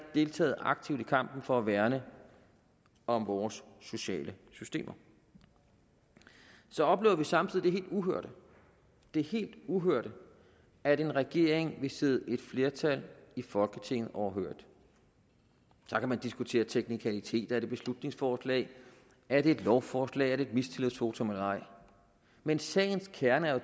deltaget aktivt i kampen for at værne om vores sociale systemer så opnåede vi samtidig det helt uhørte det helt uhørte at en regering vil sidde et flertal i folketinget overhørigt så kan man diskutere teknikaliteter er det et beslutningsforslag er det et lovforslag er det et mistillidsvotum eller ej men sagens kerne er jo